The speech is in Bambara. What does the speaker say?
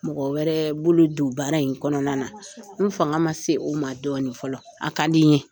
Mɔgɔ wɛrɛ bolo don baara in kɔnɔna na n fanga ma se o ma dɔɔnin fɔlɔ a ka di n ye